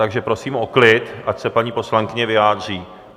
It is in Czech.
Takže prosím o klid, ať se paní poslankyně vyjádří!